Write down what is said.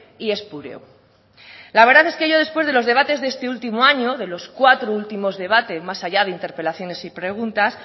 y espúreo la verdad es que yo después de los debates de este último año de los cuatro últimos debates más allá de interpelaciones y preguntas